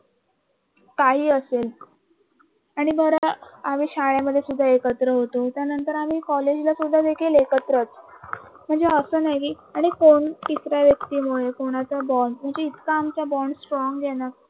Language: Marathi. काही असेल आणि बरं का आम्ही शाळेमध्ये सुद्धा एकत्र होतो आणि त्याच्यानंतर कॉलेजला सुद्धा एकत्रच म्हणजे अस नाही कि आणि कोण तिसऱ्या व्यक्तीमुळे कोणाचा दोन म्बॉहणजे इतका आमचा बॉंड स्ट्रॉंग आहे ना